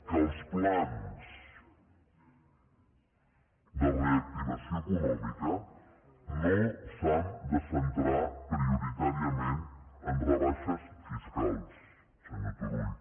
que els plans de reactivació econòmica no s’han de centrar priorità·riament en rebaixes fiscals senyor turull